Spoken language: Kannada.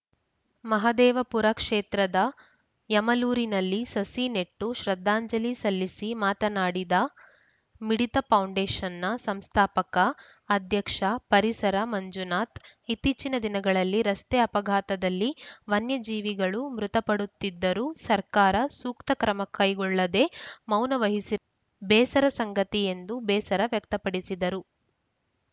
ಮಹದೇವಪುರ ಕ್ಷೇತ್ರದ ಯಮಲೂರಿನಲ್ಲಿ ಸಸಿ ನೆಟ್ಟು ಶ್ರದ್ಧಾಂಜಲಿ ಸಲ್ಲಿಸಿ ಮಾತನಾಡಿದ ಮಿಡಿತ ಫೌಂಡೇಷನ್‌ ಸಂಸ್ಥಾಪಕ ಅಧ್ಯಕ್ಷ ಪರಿಸರ ಮಂಜುನಾಥ ಇತ್ತೀಚಿನ ದಿನಗಳಲ್ಲಿ ರಸ್ತೆ ಅಪಘಾತದಲ್ಲಿ ವನ್ಯಜೀವಿಗಳು ಮೃತ ಪಡುತ್ತಿದ್ದರೂ ಸರ್ಕಾರ ಸೂಕ್ತ ಕ್ರಮ ಕೈಗೊಳ್ಳದೆ ಮೌನ ವಹಿಸಿ ಬೇಸರ ಸಂಗತಿ ಎಂದು ಬೇಸರ ವ್ಯಕ್ತಪಡಿಸಿದರು